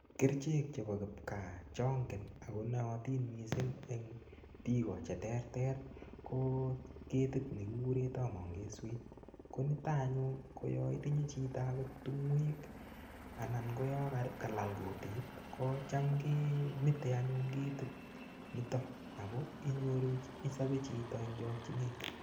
Kerichek chebo kipkaa chongen ako noyotin mising' eng' biko cheterter ko ketit nekikure tamangeswet ko nito anyun ko yo itinye chito akot tung'wek anan ko yo kalal kutit kocham kemitei anyun ketit nito ako inyoru Isobel chito eng' chokchinet